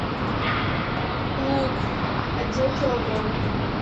лук один килограмм